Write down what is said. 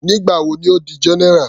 Nígbà wo ni Ó di general.